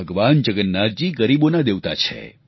ભગવાન જગન્નાથજી ગરીબોના દેવતા છે